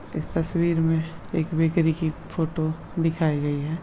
इस तस्वीर में एक बेकरी की फोटो दिखाई गई है।